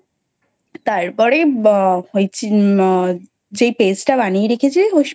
তারপরে ওই আহ যেই Paste টা বানিয়ে রেখেছিস ওই